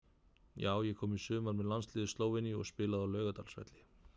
Já ég kom í sumar með landsliði Slóveníu og spilaði á Laugardalsvelli.